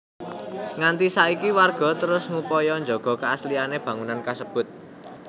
Nganti saiki warga terus ngupaya njaga keasliané bangunan kasebut